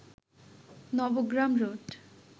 Nabagram road